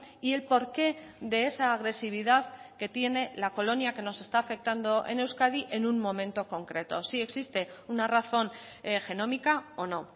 y el porqué de esa agresividad que tiene la colonia que nos está afectando en euskadi en un momento concreto si existe una razón genómica o no